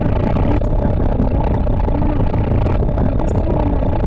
నాకు ఈ చిత్రపటంలో మనకు కనిపిస్తూ ఉన్నది.